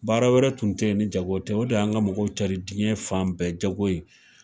Baara wɛrɛ tun tɛ yen ni jago tɛ. O de tun y'an ka mɔgɔw cari jiɲɛ fan bɛɛ jago in.